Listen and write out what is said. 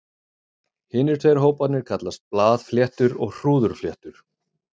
Hinir tveir hóparnir kallast blaðfléttur og hrúðurfléttur.